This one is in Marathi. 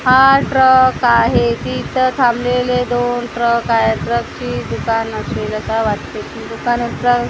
हा ट्रक आहे तिथं थांबलेले दोन ट्रक आहेत ट्रकची दुकान असेल असा वाटते दुकानाचा ह --